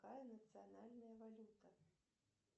какая национальная валюта